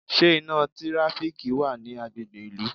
Ṣé iná tíráfíkì wa ni agbègbè ìlú?